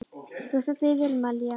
Þú stendur þig vel, Malía!